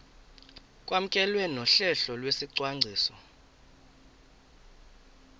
kwamkelwe nohlelo lwesicwangciso